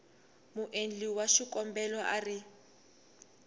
muendli wa xikombelo a ri